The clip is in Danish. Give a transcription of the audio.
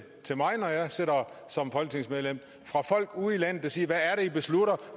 mig når jeg sidder som folketingsmedlem fra folk ude i landet der siger hvad er det i beslutter